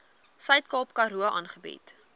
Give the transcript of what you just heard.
suidkaap karoo aangebied